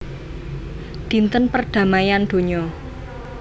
Dinten perdamaian donya